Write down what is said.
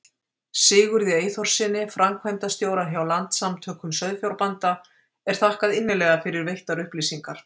Sigurði Eyþórssyni, framkvæmdastjóra hjá Landssamtökum sauðfjárbænda, er þakkað innilega fyrir veittar upplýsingar.